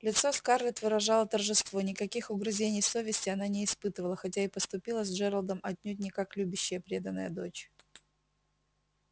лицо скарлетт выражало торжество никаких угрызений совести она не испытывала хотя и поступила с джералдом отнюдь не как любящая преданная дочь